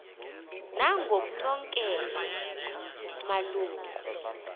nangoknonkela malu ngu